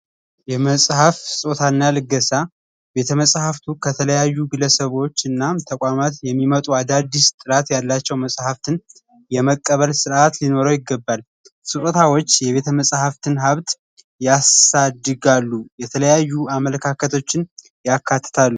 የመጽሐፍ ስጦታ እና ልገሳ ቤተመጻሕፍት ከተለያዩ ግለሰቦች እና ተቋማት የሚመጡ የተለያዩ አዳዲስ ጥራት ያላቸው መፅሀፍትን የመቀበል ስርዐት ሊኖረው ይገባል። ስጦታዎች የቤተመፅሀፍትን ሀብት ያሳድጋሉ። የተለያዩ አመለካከቶችን ያካትታሉ።